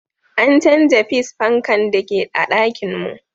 An canza fis fankan da ke a'ɗakin mun.